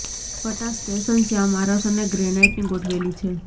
પટ્ટા સ્ટેશન શ્યામ આરસ અને ગ્રેનાઇટની ગોઠવેલી છે